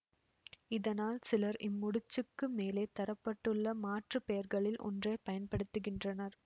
இதனால் சிலர் இம்முடிச்சுக்கு மேலே தர பட்டுள்ள மாற்று பெயர்களில் ஒன்றை பயன்படுத்துகின்றனர்